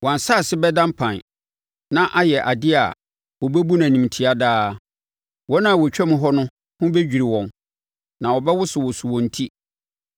Wɔn asase bɛda mpan, na ayɛ adeɛ a wɔbɛbu no animtia daa; wɔn a wɔtwam hɔ no ho bɛdwiri wɔn na wɔbɛwosowoso wɔn ti.